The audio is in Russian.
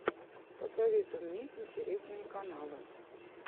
посоветуй мне интересные каналы